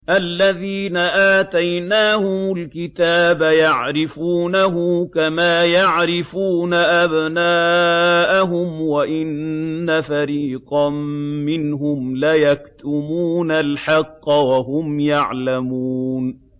الَّذِينَ آتَيْنَاهُمُ الْكِتَابَ يَعْرِفُونَهُ كَمَا يَعْرِفُونَ أَبْنَاءَهُمْ ۖ وَإِنَّ فَرِيقًا مِّنْهُمْ لَيَكْتُمُونَ الْحَقَّ وَهُمْ يَعْلَمُونَ